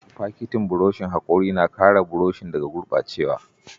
Fakitin burushin hakori na kare buroshin daga gurɓacewa.